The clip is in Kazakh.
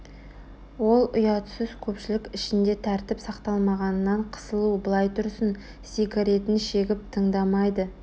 ол ұятсыз көпшілік ішінде тәртіп сақтамағанынан қысылу былай тұрсын сигаретін шегіп тыңдамайды